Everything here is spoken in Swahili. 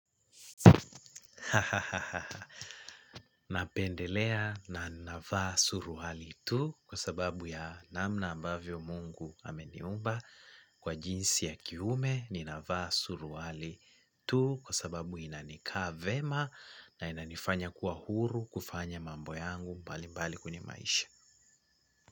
Napendelea na navaa suruali tu kwa sababu ya namna ambavyo Mungu ameniumba kwa jinsi ya kiume ninavaa suruali tu kwa sababu inanikaa vyema na inanifanya kuwa huru kufanya mambo yangu mbalimbali kwenye maisha.